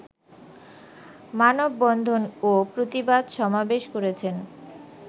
মানববন্ধন ও প্রতিবাদ সমাবেশ করেছেন।